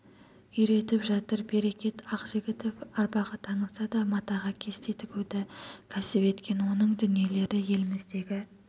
үйретіп жатыр берекет ақжігітов арбаға таңылса да матаға кесте тігуді кәсіп еткен оның дүниелері еліміздегі